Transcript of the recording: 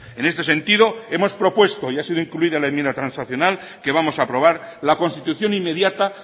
en este sentido hemos propuesto y ha sido incluida en la enmienda transaccional que vamos a aprobar la constitución inmediata